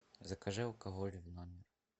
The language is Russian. закажи алкоголь в номер